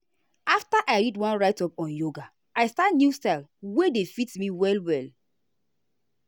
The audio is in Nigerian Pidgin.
after i read one write-up on yoga i start new style wey dey fit me well well.